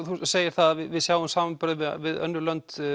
þú segir það að við sjáum samanburðinn við önnur lönd